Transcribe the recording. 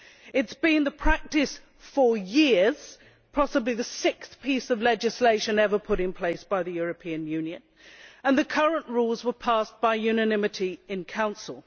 it has been the practice for years possibly the sixth piece of legislation ever put in place by the European Union and the current rules were passed by unanimity in Council.